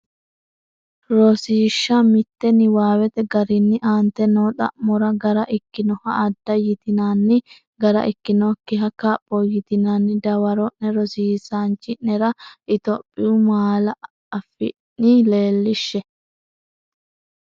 Rosiishsha Mite Niwaawete garinni aante noo xa’mora gara ikkinoha adda yitinanni gara ikkinokkiha kapho yitinanni dawaro’ne rosiisaanchi’nera Itophiyu malaa- afiinni leellishshe.